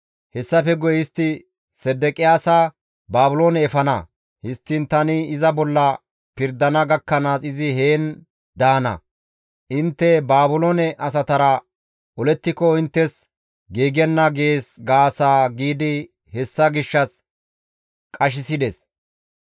Hessafe guye istti Sedeqiyaasa Baabiloone efana; histtiin tani iza bolla pirdana gakkanaas izi heen daana; intte Baabiloone asatara olettiko inttes giigenna› gees gaasa» giidi hessa gishshas qashissides.